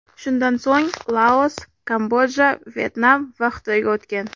Shundan so‘ng Laos, Kamboja, Vyetnam va Xitoyga o‘tgan.